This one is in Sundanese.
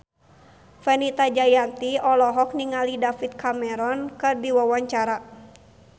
Fenita Jayanti olohok ningali David Cameron keur diwawancara